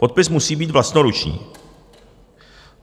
Podpis musí být vlastnoruční.